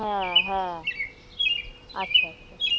হ্যাঁ হ্যাঁ আচ্ছা আচ্ছা